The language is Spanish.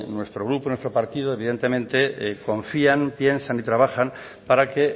nuestro grupo nuestro partido evidentemente confían piensan y trabajan para que